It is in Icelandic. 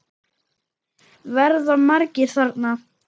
Verða margir þarna?